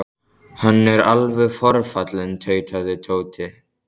Hann er alveg forfallinn tautaði Tóti.